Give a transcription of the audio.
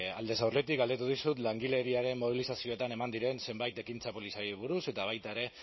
aldez aurretik galdetu dizut langileriaren mobilizazioetan eman diren zenbait ekintza polizialei buruz eta baita ere